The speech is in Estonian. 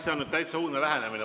See on nüüd täiesti uudne lähenemine.